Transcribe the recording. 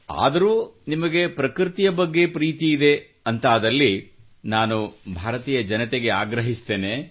ಆದರೂ ನಿಮಗೆ ಪ್ರಕೃತಿಯ ಬಗ್ಗೆ ಪ್ರೀತಿಯಿದೆ ಎಂದಾದಲ್ಲಿ ನಾನು ಭಾರತೀಯ ಜನತೆಗೆ ಆಗ್ರಹಿಸುತ್ತೇನೆ